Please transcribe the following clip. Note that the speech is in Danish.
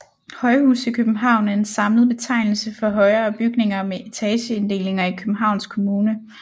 Højhuse i København er en samlet betegnelse for højere bygninger med etageinddelinger i Københavns Kommune